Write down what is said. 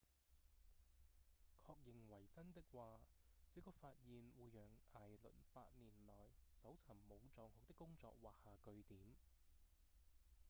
確認為真的話這個發現會讓艾倫八年來搜尋武藏號的工作畫下句點